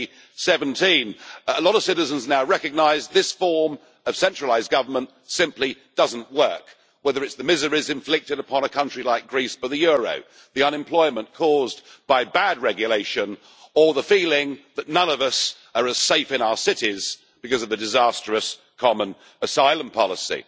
2017. A lot of citizens now recognise that this form of centralised government simply does not work, whether it is the miseries inflicted upon a country like Greece by the euro, the unemployment caused by bad regulation, or the feeling that none of us are as safe in our cities because of the disastrous common asylum policy.